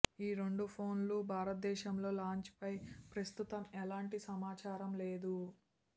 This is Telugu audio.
ఈ రెండు ఫోన్లు భారతదేశంలో లాంచ్ పై ప్రస్తుతం ఎలాంటి సమాచారం లేదు